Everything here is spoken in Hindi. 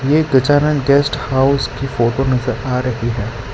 ये गजानन गेस्ट हाउस की फोटो नजर आ रही है।